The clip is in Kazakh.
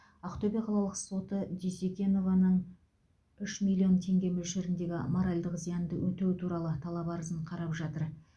ақтөбе қалалық соты дюсекенованың үш миллион теңге мөлшеріндегі моральдық зиянды өтеу туралы талап арызын қарап жатыр